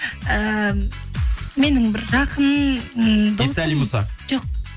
ііі менің бір жақын м досым исәлім мұса жоқ